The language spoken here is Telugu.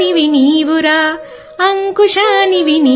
భారత స్వాతంత్ర్య పోరాటానికి అంకురానివి